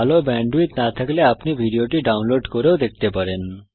ভালো ব্যান্ডউইডথ না থাকলে আপনি এটি ডাউনলোড করেও দেখতে পারেন